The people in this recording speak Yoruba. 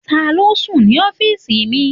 Taló n sùn ní ọ́fìsì mi?